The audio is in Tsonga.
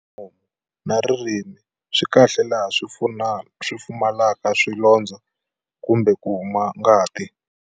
Nomu na ririmi swi kahle laha swi pfumalaka swilondzo kumbe ku huma ngati?